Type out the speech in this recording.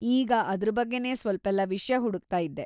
ಈಗ ಅದ್ರ್ ಬಗ್ಗೆನೇ ಸ್ವಲ್ಪೆಲ್ಲ ವಿಷ್ಯ ಹುಡುಕ್ತಾ ಇದ್ದೆ.